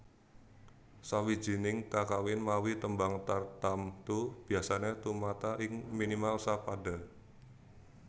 Sawijining kakawin mawi tembang tartamtu biasané tumata ing minimal sa pada